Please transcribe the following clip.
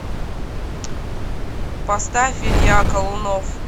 поставь илья колунов